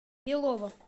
белово